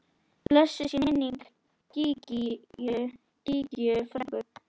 Blessuð sé minning Gígju frænku.